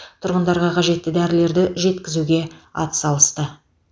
тұрғындарға қажетті дәрілерді жеткізуге атсалысты